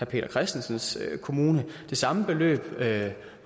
peter christensens kommune det samme beløb